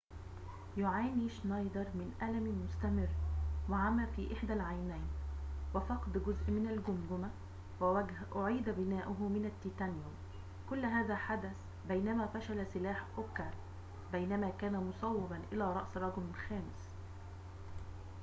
يعاني شنايدر من ألمٍ مستمرٍ وعمى في إحدى العينين وفقد جزء من الجمجمة ووجه أُعيد بناؤه من التيتانيوم كل هذا حدث بينما فشل سلاح أوكا بينما كان مصوباً إلى رأس رجل خامس